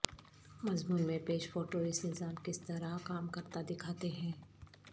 مضمون میں پیش فوٹو اس نظام کس طرح کام کرتا دکھاتے ہیں